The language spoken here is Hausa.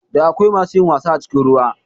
Da akwai masu yin wasa a cikin ruwa